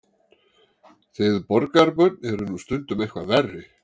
Þið borgarbörn eruð nú stundum eitthvað verri.